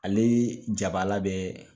Ale jabaala bɛ